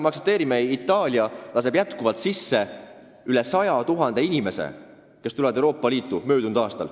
Me aktsepteerime, et Itaalia laskis mullu riiki sisse üle 100 000 inimese, kes suunduvad ka mujale Euroopa Liitu.